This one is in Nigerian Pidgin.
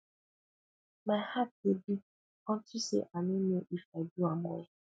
my heart dey beat unto say i no know if i do am well